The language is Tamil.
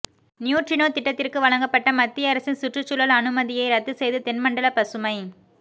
நியூட்ரினோ திட்டத்திற்கு வழங்கப்பட்ட மத்திய அரசின் சுற்றுச்சூழல் அனுமதியை ரத்து செய்து தென்மண்டல பசுமை